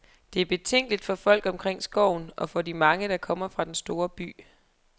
Det er betænkeligt for folk omkring skoven, og for de mange, der kommer fra den store by.